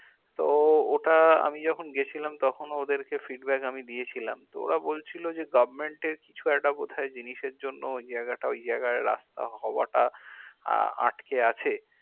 তো ওটা আমি যখন গেছিলাম তখনও ওদেরকে feedback আমি দিয়েছিলাম তো ওরা বলছিলো যে government এ কিছু একটা বোধাই জিনিসের জন্য জায়গাটা ওই জায়গায় রাস্তা হওয়াটা আহ আটকে আছে